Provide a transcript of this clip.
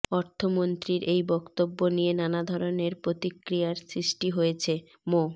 অর্থমন্ত্রীর এই বক্তব্য নিয়ে নানা ধরণের প্রতিক্রিয়ার সৃষ্টি হয়েছে মো